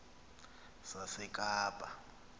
sasekapa